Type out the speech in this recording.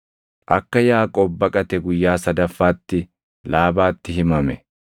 Akka Yaaqoob baqate guyyaa sadaffaatti Laabaatti himame.